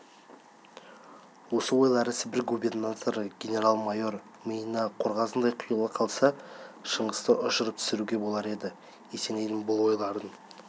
осы ойлары сібір губернаторы генерал-майор миына қорғасындай құйыла қалса шыңғысты ұшырып түсіруге болар еді есенейдің бұл ойларын